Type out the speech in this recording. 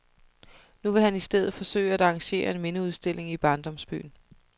Nu vil han i stedet forsøge at arrangere en mindeudstilling i barndomsbyen.